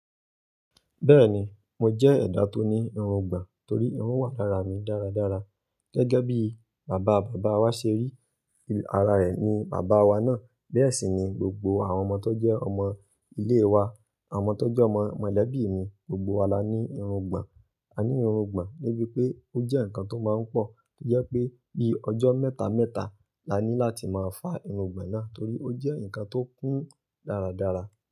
Bẹ́ẹ̀ni, mo jẹ́ ẹ̀dà tó ní irun gbàn torí irun wà lára mi dáradára. Gẹ́gẹ́ bí bàbá bàbá wa ṣe rí ara rẹ̀ ní bàbá wa náà, bẹ́ẹ̀ sì ni gbogbo àwọn ọmọ tó jẹ́ ọmọ ilé wa, àwọn tó jẹ́ ọmọ mọ̀lẹ́bí mi, gbogbo wa la ní irun gbàn. A ní irun gbàn níbí pé ó jẹ́ nǹkan tó máa ń pọ̀, tó jẹ́ pé bí ọjọ́ mẹ́ta mẹ́ta la ní láti máa fá irun gbàn náà torí ó jẹ́ nǹkan tó kún dáradára.